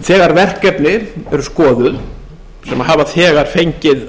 þegar verkefni eru skoðuð sem hafa þegar fengið